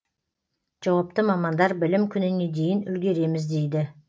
жауапты мамандар білім күніне дейін үлгереміз дейді